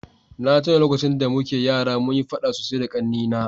na tuna lokacin da muke yara munyi faɗa sosai da ƙannena